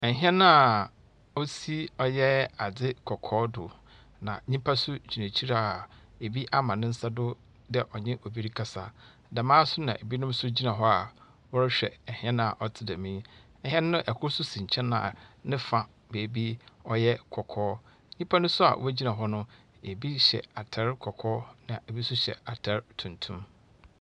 Ɛhɛn a osi ɔyɛ adze kɔkɔɔ do, na nyimpa so gyina ekyir a ebi ama nensa do dɛ ɔnye ebi rekasa. Dɛm ara so na ebinom nso gyina hɔ a wɔrehwɛ ɛhɛn a ɔtse dɛm yi. Ɛhɛn no ɛkor so si nkyɛn a nefa baabi ɔyɛ kɔkɔɔ. Nyipa no so a wogyina hɔ no ebi hyɛ atar kɔkɔɔ, na ebi so hyɛ atar tuntum.